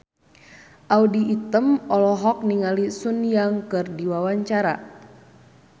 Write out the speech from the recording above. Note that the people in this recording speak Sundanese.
Audy Item olohok ningali Sun Yang keur diwawancara